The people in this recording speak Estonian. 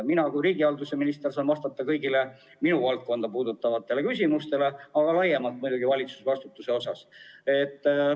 Mina kui riigihalduse minister saan vastata kõigile minu valdkonda puudutavatele küsimustele, aga laiemalt muidugi ka valitsusvastutuse kohta.